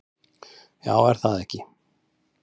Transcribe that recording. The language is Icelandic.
Já, er það ekki?